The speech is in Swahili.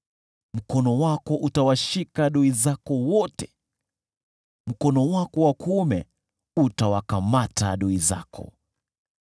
Mkono wako utawashika adui zako wote, mkono wako wa kuume utawakamata adui zako.